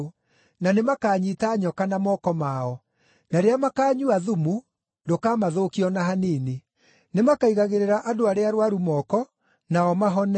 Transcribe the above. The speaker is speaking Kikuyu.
na nĩmakanyiita nyoka na moko mao; na rĩrĩa makaanyua thumu, ndũkamathũkia o na hanini; nĩmakaigagĩrĩra andũ arĩa arũaru moko, nao mahone.”